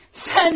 Sən ha!